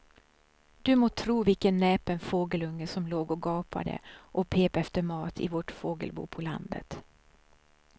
Du må tro vilken näpen fågelunge som låg och gapade och pep efter mat i vårt fågelbo på landet.